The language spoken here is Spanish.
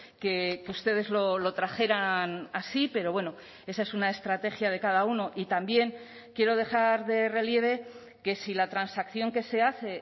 que ustedes lo trajeran así pero bueno esa es una estrategia de cada uno y también quiero dejar de relieve que si la transacción que se hace